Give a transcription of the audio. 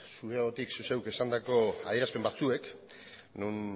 zure ahotik zu zeuk esandako adierazpen batzuek non